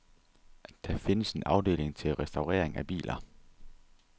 Der findes en afdeling til restaurering af biler.